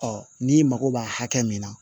n'i mago b'a hakɛ min na